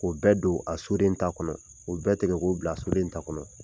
O bɛɛ don a soden ta kɔnɔ o bɛɛ tigɛ k'u bila soden ta kɔnɔ.